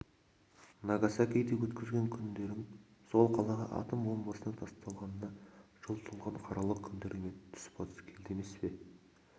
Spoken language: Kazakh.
нагасакиде өткізген күндерің сол қалаға атом бомбасының тасталғанына жыл толған қаралы күндермен түспа-тұс келді емес пе